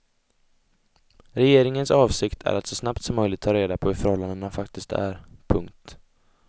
Regeringens avsikt är att så snabbt som möjligt ta reda på hur förhållandena faktiskt är. punkt